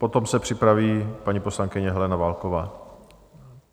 Potom se připraví paní poslankyně Helena Válková.